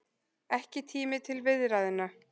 Ekki tími til viðræðna